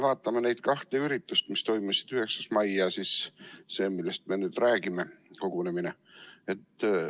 Vaatame neid kahte üritust, mis toimusid 9. mail ja siis seda, millest me nüüd räägime, sellest kogunemisest.